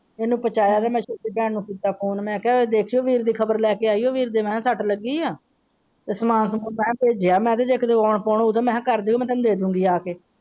ਉਹਨੇ ਪੁੱਛਿਆ ਤੇ ਮੈਂ ਛੋਟੀ ਭੈਣ ਨੂੰ ਕੀਤਾ ਫੋਨ ਮੈਂ ਕਹਿਆ ਦੇਖਿਆ ਵੀਰ ਦੀ ਖ਼ਬਰ ਲੈਕੇ ਆਇਆ ਵੀਰ ਦੇ ਸਟ ਲੱਗੀ ਹੈ ਤੇ ਸਾਮਨਾ ਸਾਮਨਾ ਮੈਂ ਭੇਜਿਆ ਮੈਂ।